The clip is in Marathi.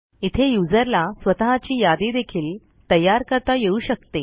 इथे userला स्वतःची यादी देखील तयार करता येऊ शकते